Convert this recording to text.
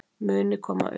muni koma upp.